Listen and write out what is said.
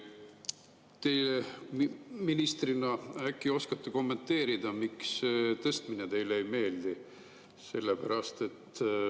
Teie ministrina äkki oskate kommenteerida, miks tõstmine teile ei meeldi?